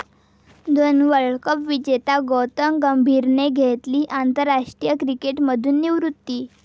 दोन world cup विजेत्या गौतम गंभीरने घेतली आंतरराष्ट्रीय क्रिकेटमधून निवृत्ती